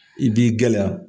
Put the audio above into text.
I b'i gɛlɛya.